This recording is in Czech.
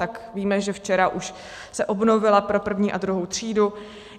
Tak víme, že včera už se obnovila pro první a druhou třídu.